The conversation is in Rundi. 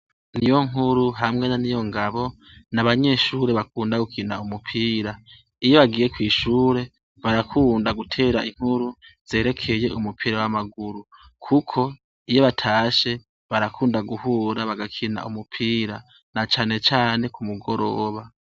Niyonkuru hamwe na Niyongabo n'abanyeshure bakunda gukina umupira ,iyo bagiye kw'ishure barakunda gutera inkuru zerekeye umupira w'amaguru kuko iyo batashe barakunda guhura bagakina umupira na cane cane ku mugoroba.